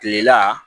Kilela